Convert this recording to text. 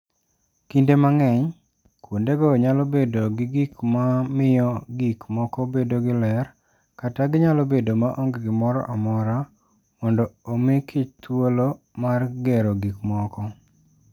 Kinde mang'eny, kuondego nyalo bedo gi gik ma miyo gik moko bedo gi ler kata ginyalo bedo maonge gimoro amora mondo omi kichthuolo mar gero gik moko.